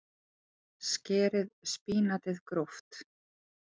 Skerið spínatið gróft.